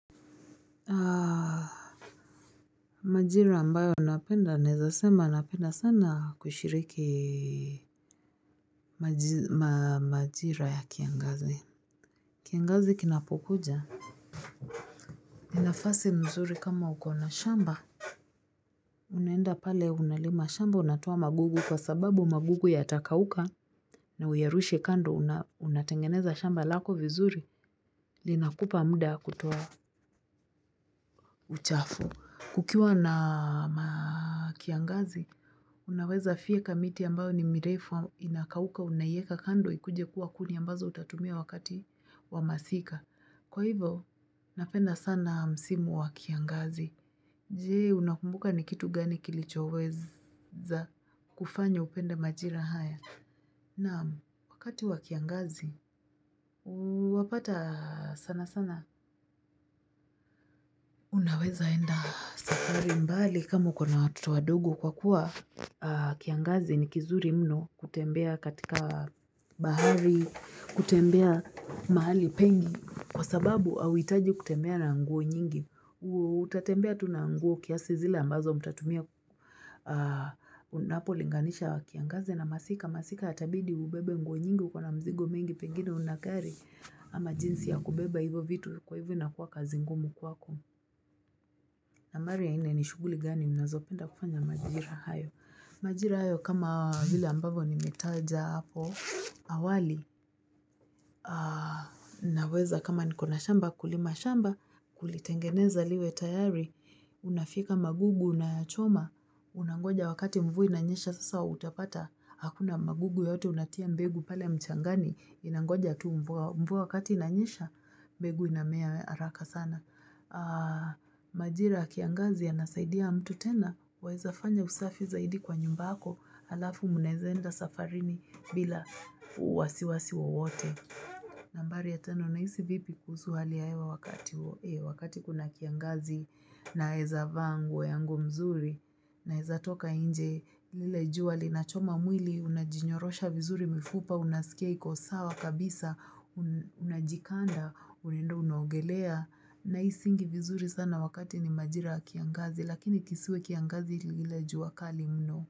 Majira ambayo napenda naweza sema napenda sana kushiriki majira ya kiangazi. Kiangazi kinapokuja ni nafasi mzuri kama uko na shamba, unaenda pale unalima shamba unatoa magugu kwa sababu magugu yatakauka na uyarushe kando, unatengeneza shamba lako vizuri Linakupa muda wa kutoa uchafu. Kukiwa na kiangazi, unaweza fyeka miti ambayo ni mirefu inakauka unaieka kando ikuje kuwa kuni ambazo utatumia wakati wa masika. Kwa hivo, napenda sana msimu wa kiangazi. Je, unakumbuka ni kitu gani kilichoweza kufanya upende majira haya? Naam, wakati wa kiangazi, wapata sana sana. Unaweza enda safari mbali kama uko na watoto wadogo kwa kuwa kiangazi ni kizuri mno kutembea katika bahari, kutembea mahali pengi kwa sababu hahuitaji kutembea na nguo nyingi. Utatembea tu na nguo kiasi zile ambazo mtatumia unapolinganisha kiangazi na masika, masika yatabidi ubebe nguo nyingi, uko na mzigo mingi pengine huna gari ama jinsi ya kubeba hivyo vitu kwa hivyo inakuwa kazi ngumu kwako na mara ya nne ni shughuli gani unazopenda kufanya majira hayo. Majira hayo kama vile ambavyo nimetaja hapo awali naweza kama niko na shamba, kulima shamba, kulitengeneza liwe tayari Unafyeka magugu, unayachoma Unangoja wakati mvua inanyesha sasa utapata hakuna magugu yoyote unatia mbegu pale mchangani, inangoja tu mvua wakati inanyesha mbegu inamea haraka sana Majira ya kiangazi yanasaidia mtu tena waeza fanya usafi zaidi kwa nyumba yako, halafu mnaeza enda safarini bila wasiwasi wowote. Nambari ya tano, unahisi vipi kuhusu hali ya hewa wakati kuna kiangazi. Naeza vaa nguo yangu mzuri, naeza toka nje lile jua linachoma mwili unajinyorosha vizuri mifupa unasikia iko sawa kabisa unajikanda unaenda unaogelea nahisingi vizuri sana wakati ni majira ya kiangazi, lakini kisiwe kiangazi ya lile jua kali mno.